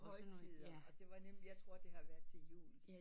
Til højtider og det var nemlig jeg tror det har været til jul